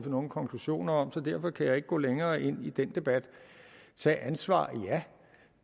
nogle konklusioner om så derfor kan jeg ikke gå længere ind i den debat tag ansvar ja